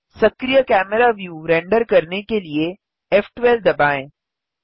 सक्रिय camera view render करने के लिए फ़12 दबाएँ